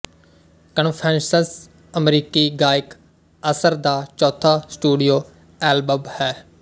Confessions ਅਮਰੀਕੀ ਗਾਇਕ Usher ਦਾ ਚੌਥਾ ਸਟੂਡੀਓ ਐਲਬਮ ਹੈ